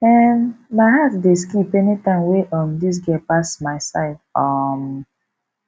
um my heart dey skip any time wey um dis girl pass my side um